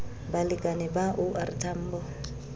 balekane ba o r tambo